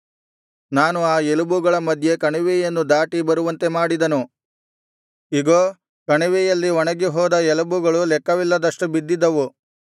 ನಾನು ಆ ಎಲುಬುಗಳ ಮಧ್ಯೆ ಕಣಿವೆಯನ್ನು ದಾಟಿ ಬರುವಂತೆ ಮಾಡಿದನು ಇಗೋ ಕಣಿವೆಯಲ್ಲಿ ಒಣಗಿ ಹೋದ ಎಲುಬುಗಳು ಲೆಕ್ಕವಿಲ್ಲದಷ್ಟು ಬಿದ್ದಿದ್ದವು